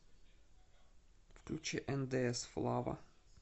включи эндээс флава